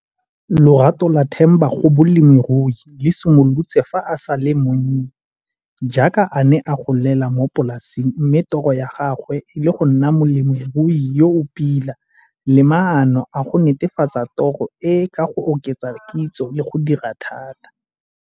Lorato la Themba go bolemirui le simolotse fa a sa le monnye, jaaka a ne a golela mo polaseng mme toro ya gagwe e le go nna molemirui yo o pila le maano a go netefatsa toro e ka go oketsa kitso le go dira thata.